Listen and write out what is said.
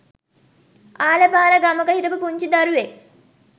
අහල පහල ගමක හිටපු පුංචි දරුවෙක්